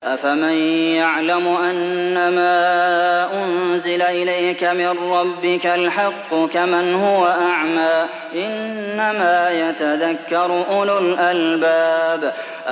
۞ أَفَمَن يَعْلَمُ أَنَّمَا أُنزِلَ إِلَيْكَ مِن رَّبِّكَ الْحَقُّ كَمَنْ هُوَ أَعْمَىٰ ۚ إِنَّمَا يَتَذَكَّرُ أُولُو الْأَلْبَابِ